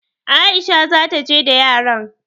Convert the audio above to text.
Aisha za ta je da yaran.